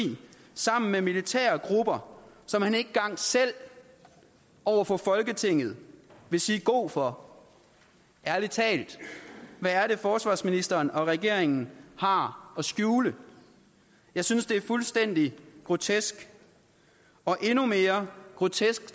sammen med militære grupper som han ikke engang selv over for folketinget vil sige god for ærlig talt hvad er det forsvarsministeren og regeringen har at skjule jeg synes det er fuldstændig grotesk og endnu mere grotesk